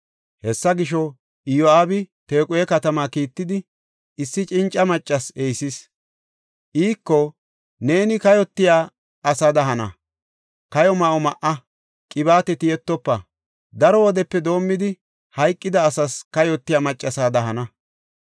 Hessa gisho, Iyo7aabi Tequhe katamaa kiittidi, issi cinca maccas ehisis. Iiko, “Neeni kayotiya asada hana; kayo ma7o ma7a; qibaate tiyettofa; daro wodepe doomidi, hayqida asas kayotiya maccasada hana.